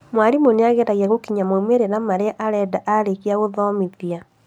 Mwarimũ nĩageragia gũkinyia maumĩrĩra maria arenda arĩkia gũthomithia